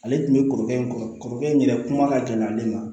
Ale tun bɛ kɔrɔkɛ in kɔ kɔrɔkɛ in yɛrɛ kuma ka gɛlɛ ale ma